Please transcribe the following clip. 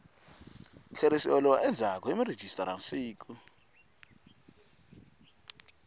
tlheriseriwa endzhaku hi murhijisitara siku